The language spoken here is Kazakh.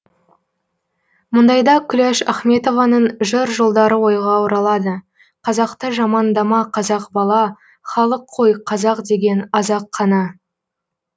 мұндайда күләш ахметованың жыр жолдары ойға оралады қазақты жамандама қазақ бала халық қой қазақ деген аз ақ қана